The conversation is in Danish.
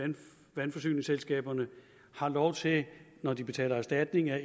vandforsyningsselskaberne har lov til når de betaler erstatning at